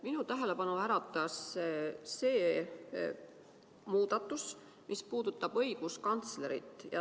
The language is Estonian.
Minu tähelepanu äratas see muudatus, mis puudutab õiguskantslerit.